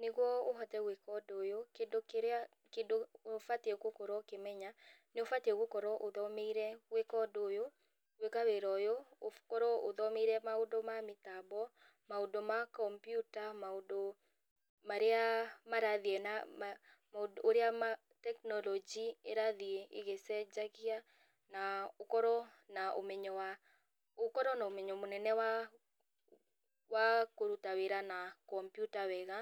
Nĩguo ũhote gwĩka ũndũ ũyũ, kĩndũ kĩrĩa kĩndũ ũbatiĩ gũkorwo ũkĩmenya, nĩ ũbatiĩ gũkorwo ũthomeire gwĩka ũndũ ũyũ, gwĩka wĩra ũyũ, ũkorwo ũthomeire maũndũ ma mĩtambo, maũndũ ma kombyuta, maũndũ marĩa marathiĩ na maũndũ ũrĩa tekinorojĩ ĩrathiĩ ĩgĩcenjagia, na ũkorwo na ũmenyo wa ũkorwo na ũmenyo mũnene wa wa kũruta wĩra na kombyuta wega,